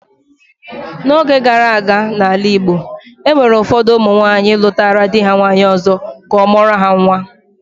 N'oge gara aga, n'ala Igbo, e nwere ụfọdụ ụmụ nwaanyị lụtara di ha nwaanyị ọzọ ka ọ mụọrọ ha nwa